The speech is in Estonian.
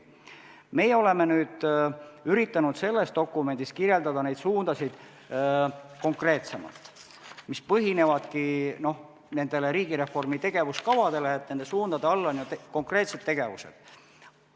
Meie oleme üritanud selles dokumendis kirjeldada konkreetsemalt neid suundasid, mis põhinevadki riigireformi tegevuskaval, nende suundade all on ju konkreetsed tegevused.